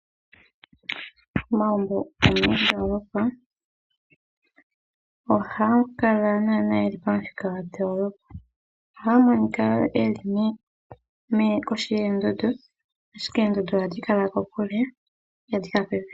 Omagumbo gomoondoolopa, ohaga kala naanaa geli pamuthika gwoondoolopa. Ohaga monika wo geli kohi yoondundu, ashike oondundu ohadhi kala kokule, ihadhi kala popepi.